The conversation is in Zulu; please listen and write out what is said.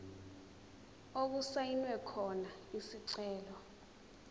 okusayinwe khona isicelo